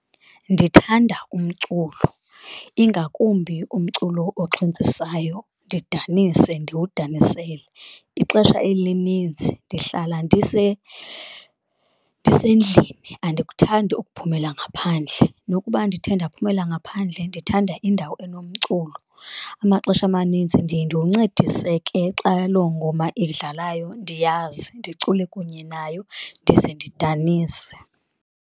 Ndithanda umculo, ingakumbi umculo oxhentsisayo, ndidanise ndiwudanisele. Ixesha elinintsi ndihlala ndisendlini. Andikuthandi ukuphumela ngaphandle, nokuba ndithe ndaphumelela ngaphandle ndithanda indawo enomculo. Amaxesha amaninzi ndiye ndiwuncedise ke xa loo ngoma edlalayo ndiyazi, ndicule kunye nayo ndize ndidanise.